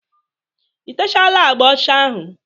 I techaala agba ọcha ahụ?